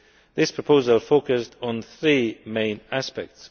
This proposal focused on three main aspects.